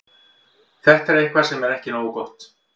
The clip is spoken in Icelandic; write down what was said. Þetta er eitthvað sem er ekki nógu gott.